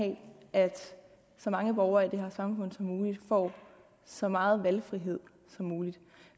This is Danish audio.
have at så mange borgere i det her samfund som muligt får så meget valgfrihed som muligt